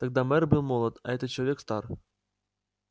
тогда мэр был молод а этот человек стар